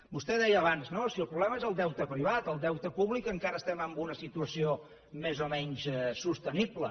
vostè deia abans no si el problema és el deute privat en el deute públic encara estem en una situació més o menys sostenible